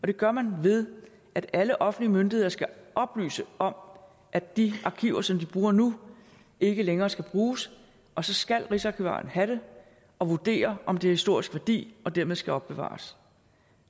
det gør man ved at alle offentlige myndigheder skal oplyse om at de arkiver som de bruger nu ikke længere skal bruges og så skal rigsarkivaren have dem og vurdere om de har historisk værdi og dermed skal opbevares